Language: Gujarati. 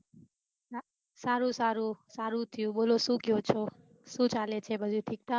સારું સારું સારું થયું બોલો શું કેહોચો કેવું ચાલે બઘુ ઠીક ઠાક